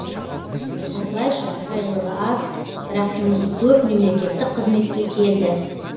осылайша айлығы аз бірақ жұмысы көп мемлекеттік қызметке келді